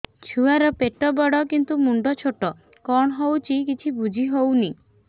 ଛୁଆର ପେଟବଡ଼ କିନ୍ତୁ ମୁଣ୍ଡ ଛୋଟ କଣ ହଉଚି କିଛି ଵୁଝିହୋଉନି